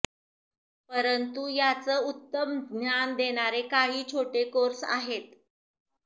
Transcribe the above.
परंतु याचं उत्तम ज्ञान देणारे काही छोटे कोर्स आहेत